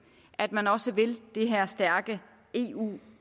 at man også vil det her stærke eu